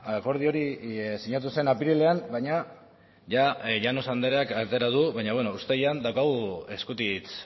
akordio hori sinatu zen apirilean baina llanos andreak atera du baina bueno uztailean daukagu eskutitz